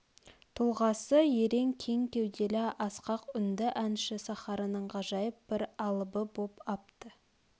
тұлғасы ерен кең кеуделі асқақ үнді әнші сахараның ғажайып бір алыбы боп апты